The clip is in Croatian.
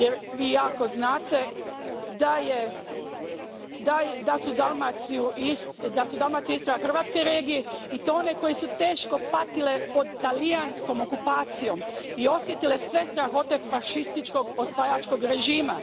Vi jako dobro znate da su Dalmacija i Istra hrvatske regije i to one koje su teško patile pod talijanskom okupacijom i osjetile sve strahote fašističkog osvajačkog režima.